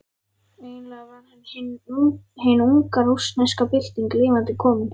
Eiginlega var hann hin unga rússneska bylting lifandi komin.